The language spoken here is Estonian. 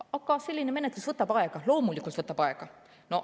Aga selline menetlus võtab aega, loomulikult võtab aega.